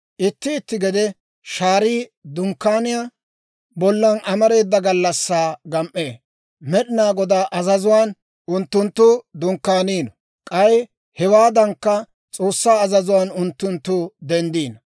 Itti itti gede shaarii Dunkkaaniyaa bollan amareeda gallassaa gam"ee. Med'inaa Godaa azazuwaan unttunttu dunkkaaniino; k'ay hewaadankka, S'oossaa azazuwaan unttunttu denddino.